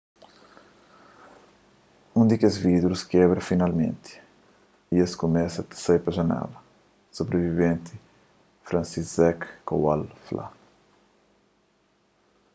un di kes vidrus kebra finalmenti y es kumesa ta sai pa janela sobriviventi franciszek kowal fla